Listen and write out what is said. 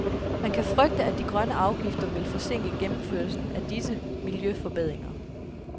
Man kan frygte, at de grønne afgifter vil forsinke gennemførelsen af disse miljøforbedringer.